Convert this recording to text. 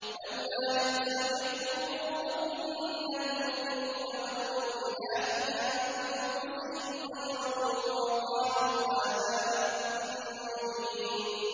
لَّوْلَا إِذْ سَمِعْتُمُوهُ ظَنَّ الْمُؤْمِنُونَ وَالْمُؤْمِنَاتُ بِأَنفُسِهِمْ خَيْرًا وَقَالُوا هَٰذَا إِفْكٌ مُّبِينٌ